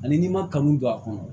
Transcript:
Ani n'i ma kanu don a kɔnɔ